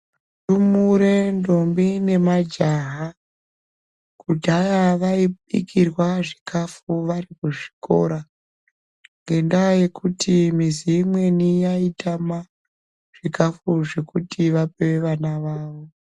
Ndumure ntombi nemajaha kudhaya vaibikirwa zvikafu vari kuzvikora ngendaa yokuti mizi imweni yaitama zvikafu zvekuti vape vana vavo